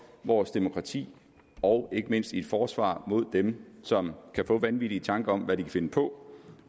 vores demokrati og ikke mindst et forsvar mod dem som kan få vanvittige tanker om hvad de kan finde på